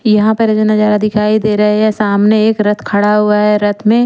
यहाँ पर जो नजारा दिखाई दे रहा है ये सामने एक रथ खड़ा हुआ है रथ मे--